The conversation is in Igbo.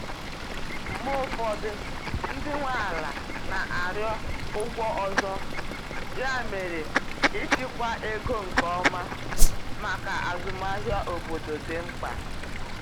Mgbe ụfọdụ, ndị nwe ala na-arịọ ụgwọ ọzọ, ya mere ịchịkwa ego nke ọma maka azụmahịa obodo dị mkpa.